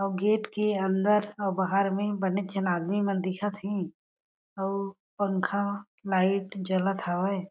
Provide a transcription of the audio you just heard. अउ गेट के अंदर अउ बाहर में बने जन आदमी मन दिखत हे अउ पंखा लाइट जलत हवय।